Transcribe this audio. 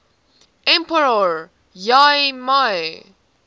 emperor y mei